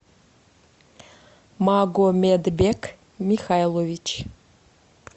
магомедбек михайлович